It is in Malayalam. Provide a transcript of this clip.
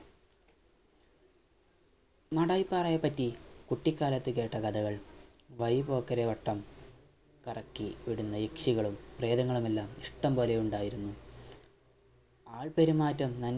മാടായിപ്പാറയെപ്പറ്റി കുട്ടിക്കാലത്ത് കേട്ട കഥകൾ വയ്പോക്കരെവട്ടം കറക്കി വിടുന്ന യക്ഷികളും പ്രേതങ്ങളുമെല്ലാം ഇഷ്ട്ടം പോലെ ഉണ്ടായിരുന്നു ആൾപെരുമാറ്റം